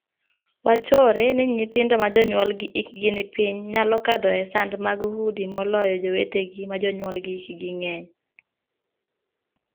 Wachore ni nyithindo ma jonyuolgi hikgi ni piny nyalo kadho e sand mag udi moloyo jowetegi ma jonyuolgi hikgi ng'eny.